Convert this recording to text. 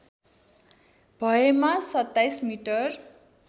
भएमा २७ मिटर